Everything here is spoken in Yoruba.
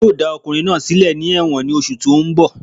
Wọ́n yóò dá ọkùnrin náà sílẹ̀ ní ẹ̀wọ̀n ní oṣù tó n bọ̀